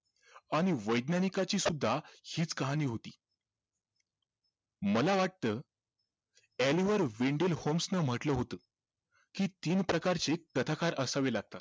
आणि वैज्ञानिकाची सुद्धा हिच कहाणी होती मला वाटतं ने म्हटलं होतं कि तीन प्रकारचे कथाकार असावे लागतात